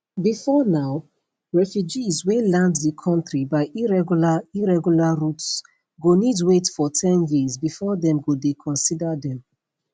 bifor now refugees wey land di kontri by irregular irregular routes go need wait for ten years bifor dem go dey consider dem